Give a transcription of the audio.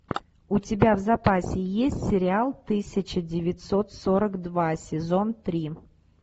у тебя в запасе есть сериал тысяча девятьсот сорок два сезон три